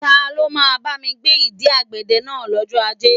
Ta ló máa bámi gbé ìdí ọ̀gẹ̀dẹ̀ náà lọ́jọ́ Ajé?